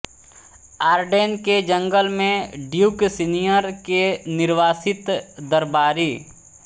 Arden के जंगल में ड्यूक सीनीयर के निर्वासित दरबारी